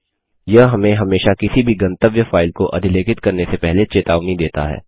यह हमें हमेशा किसी भी गंतव्य फाइल को अधिलेखित करने से पहले चेतावनी देता है